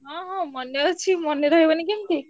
ହଁ ହଁ ମନେ ଅଛି ମନେ ରହିବନି କେମତି?